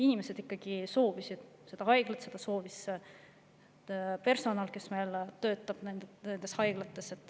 Inimesed ikkagi soovisid seda haiglat, seda soovis personal, kes haiglates töötab.